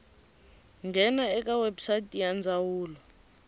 nghena eka website ya ndzawulo